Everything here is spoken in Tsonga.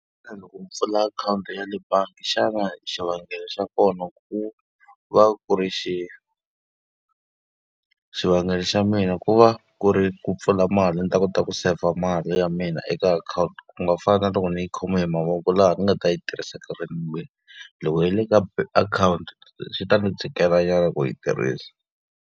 pfula akhawunti ya le bangi xana xivangelo xa kona ku va ku ri xihi? Xivangelo xa mina ku va ku ri ku pfula mali ni kota ku seyivha mali ya mina eka akhawunti, ku nga fani na loko ni yi khoma hi mavoko laha ni nga ta yi tirhisa . Loko y ri eka akhawunti swi ta ni tikelanyana ku yi tirhisa.